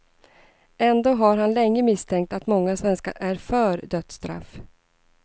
Ändå har han länge misstänkt att många svenskar är för dödsstraff.